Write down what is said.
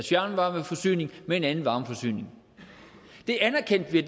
fjernvarmeforsyning med en anden varmeforsyning det anerkendte vi